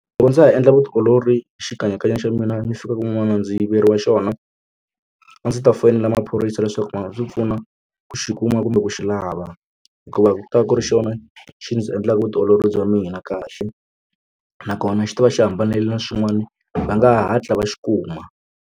Loko ndza ha endla vutiolori xikanyakanya xa mina mi fika kun'wana ndzi yiveriwa xona a ndzi ta foyinela maphorisa leswaku va nga ndzi pfuna ku xi kuma kumbe ku xi lava hikuva ku ta ku ri xona xi ndzi endlaka vutiolori bya mina kahle nakona xi ta va xi hambanile na swin'wana va nga hatla va xi kuma.